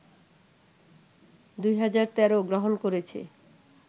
২০১৩ গ্রহণ করেছে